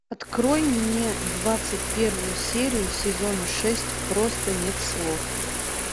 открой мне двадцать первую серию сезона шесть просто нет слов